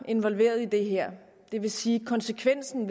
involveret i det her det vil sige at konsekvensen